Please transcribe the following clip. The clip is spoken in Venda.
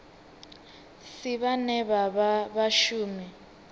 si vhane vha vha vhashumi